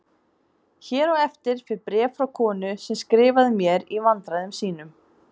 Hér á eftir fer bréf frá konu sem skrifaði mér í vandræðum sínum